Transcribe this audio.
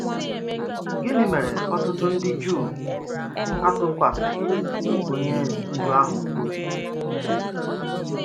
Gịnị mèrè òtùtù ndị Juu àtụkwàsịghị onye ndú ahụ obi?